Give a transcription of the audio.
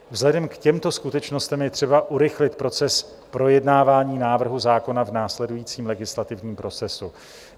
Vzhledem k těmto skutečnostem je třeba urychlit proces projednávání návrhu zákona v následujícím legislativním procesu.